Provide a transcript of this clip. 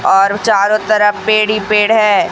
और चारों तरफ पेड़ ही पेड़ है।